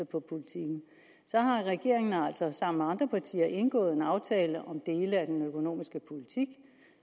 på politikken så har regeringen altså sammen med andre partier indgået en aftale om dele af den økonomiske politik